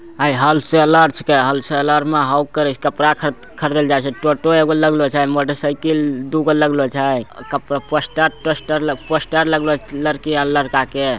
हेई wholesaler छिके wholesaler में कपड़ा खरीदेले जाय छै टोटो एगो लगलो छै मोटर साइकिल दूगो लगलो छै कप पोस्टर - तोस्टर पोस्टर लगलो छै लड़की आर लड़का के।